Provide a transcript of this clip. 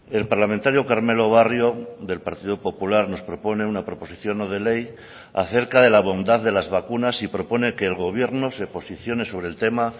el parlamentario carmelo barrio del partido popular nos propone una proposición no de ley acerca de la bondad de las vacunas y propone que el gobierno se posicione sobre el tema